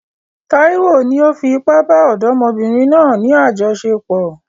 Taiwo ni ó fi ipá bá ọ̀dọ́mọbìnrin náà ní àjọṣepọ̀.